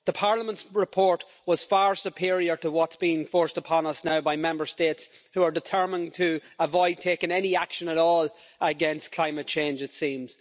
The Parliament's report was far superior to what's been forced upon us now by Member States who are determined to avoid taking any action at all against climate change, it seems.